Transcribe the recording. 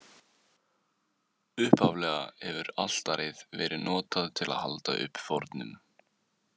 Upphaflega hefur altarið verið notað til að halda uppi fórnum.